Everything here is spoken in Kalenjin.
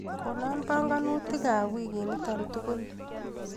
Konaa panganutikap wikinito tukul.